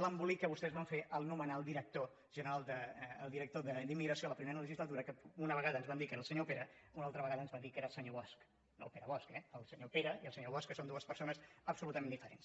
l’embolic que vostès van fer al nomenar el director general el director d’immigració a la primera legislatura que una vegada ens van dir que era el senyor pera una altra vegada ens van dir que era el senyor bosch no el pere bosch eh el senyor pera i el senyor bosch que són dues persones absolutament diferents